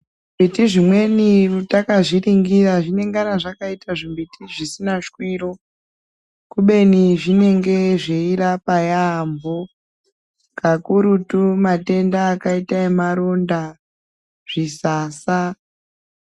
Zvimbiti zvimweni takazviringira zvinengana zvakaita zvimbiti zvisina shwiro kubeni zvinenge zveirapa yaambo kakurutu matenda akaita emaronda zvisasa.